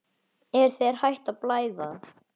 Er þér hætt að blæða?